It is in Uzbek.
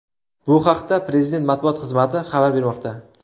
Bu haqda Prezident matbuot xizmati xabar bermoqda .